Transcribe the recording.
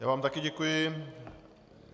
Já vám také děkuji.